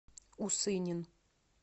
усынин